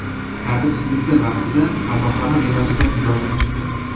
Tartibsizliklar vaqtida qamoqxona binosida yong‘in chiqqan.